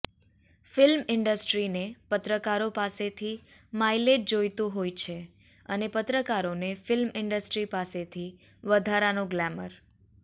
film ઈન્ડસ્ટ્રીને પત્રકારો પાસેથી માઈલેજ જોઈતું હોય છે અને પત્રકારોને ફ્લ્મિ ઈન્ડસ્ટ્રી પાસેથી વધારાનું ગ્લેમર